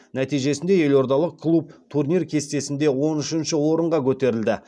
нәтижесінде елордалық клуб турнир кестесінде он үшінші орынға көтерілді